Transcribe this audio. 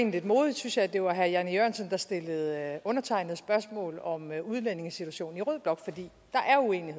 lidt modigt synes jeg at det var herre jan e jørgensen der stillede undertegnede spørgsmål om udlændingesituationen i rød blok